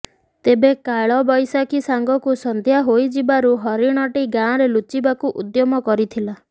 ତେବେ କାଳବୈଶାଖୀ ସାଙ୍ଗକୁ ସନ୍ଧ୍ୟା ହୋଇଯିବାରୁ ହରିଣଟି ଗାଁରେ ଲୁଚିବାକୁ ଉଦ୍ୟମ କରିଥିଲା